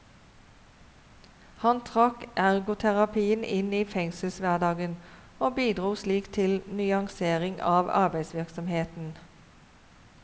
Han trakk ergoterapien inn i fengselshverdagen, og bidro slik til nyansering av arbeidsvirksomheten.